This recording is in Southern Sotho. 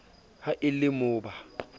ha e le mo ba